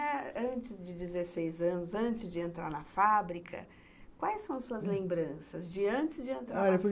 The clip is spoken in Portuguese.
E antes de dezesseis anos, antes de entrar na fábrica, quais são as suas lembranças de antes de entrar na fábrica?